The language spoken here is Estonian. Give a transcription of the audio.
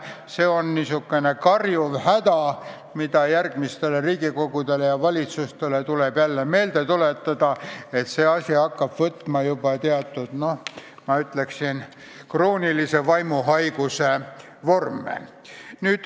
See aga on lausa karjuv häda, mida järgmistele Riigikogudele ja valitsustele tuleb meelde tuletada, sest see hakkab juba omandama, ma ütleksin, kroonilise vaimuhaiguse vorme.